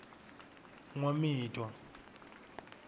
nwamitwa